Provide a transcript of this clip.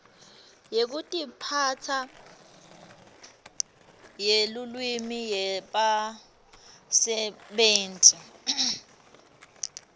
yekutiphatsa yelulwimi yebasebenti